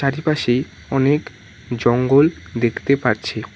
চারিপাশে অনেক জঙ্গল দেখতে পারছি।